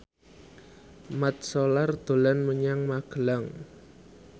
Mat Solar dolan menyang Magelang